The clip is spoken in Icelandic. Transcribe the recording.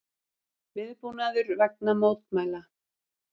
Viðbúnaður vegna mótmæla